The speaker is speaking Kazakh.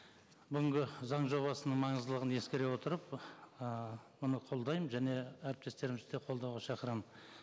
бүгінгі заң жобасының маңыздылығын ескере отырып ыыы бұны қолдаймын және әріптестерімізді де қолдауға шақырамын